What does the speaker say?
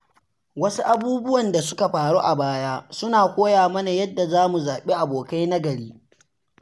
Wasu abubuwan da suka faru a baya suna koya mana yadda za mu zaɓi abokai na gari.